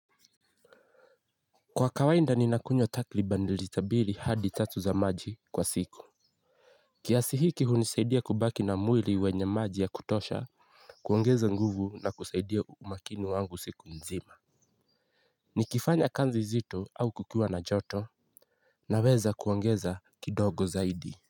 Kwa kawainda ninakunywa takriban lita mbili hadi tatu za maji kwa siku. Kiasi hiki hunisaidia kubaki na mwili wenye maji ya kutosha kuongeza nguvu na kusaidia umakini wangu siku nzima. Nikifanya kanzi zito au kukiwa na joto naweza kuongeza kidogo zaidi.